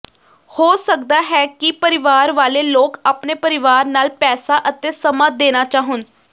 ਹੋ ਸਕਦਾ ਹੈ ਕਿ ਪਰਿਵਾਰ ਵਾਲੇ ਲੋਕ ਆਪਣੇ ਪਰਿਵਾਰ ਨਾਲ ਪੈਸਾ ਅਤੇ ਸਮਾਂ ਦੇਣਾ ਚਾਹੁਣ